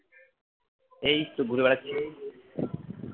এইতো ঘুরে বেড়াচ্ছি